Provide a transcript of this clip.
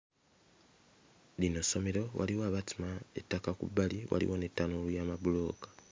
Lino ssomero waliwo abasima ettaka ku bbali waliwo ne ttanuulu y'amabulooka.